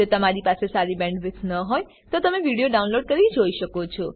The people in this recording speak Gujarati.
જો તમારી પાસે સારી બેન્ડવિડ્થ ન હોય તો તમે વિડીયો ડાઉનલોડ કરીને જોઈ શકો છો